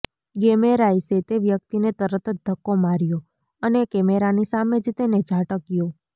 ગેમેરાઇસે તે વ્યક્તિને તરત જ ધક્કો માર્યો અને કેમેરાની સામે જ તેને ઝાટક્યો